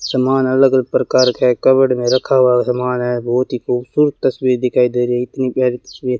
समान अलग अलग प्रकार के कबर्ड में रखा हुआ सामान है बहुत ही खूबसूरत तस्वीर दिखाई दे रही इतनी प्यारी तस्वीर --